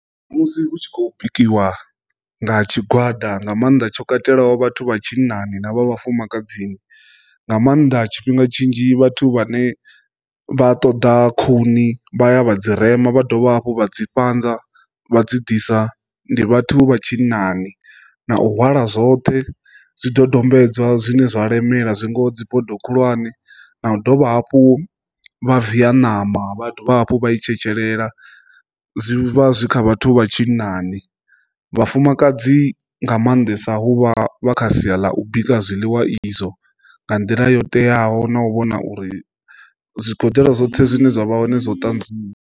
Musi hu tshi khou bikiwa nga tshigwada nga maanḓa tsho katelaho vhathu vha tshinnani na vha vhufumakadzini nga maanḓa tshifhinga tshinzhi vhathu vhane vha ṱoḓa khuni vha ya vha dzi rema vha dovha hafhu vha dzi fhanza vha dzi ḓisa ndi vhathu vha tshinnani, na u hwala zwoṱhe zwidodombedzwa zwine zwa lemela zwi ngaho dzibodo khulwane na u dovha hafhu vha viya ṋama vha dovha hafhu vha i tshetshelesa zwi vha zwi kha vhathu vha tshinnani. Vhafumakadzi nga maanḓesa huvha vha kha sia ḽa u bika zwiḽiwa izwo nga nḓila yo teaho na u vhona uri zwigoḓelo zwoṱhe zwine zwa vha hoṋe zwo ṱanzwiwa.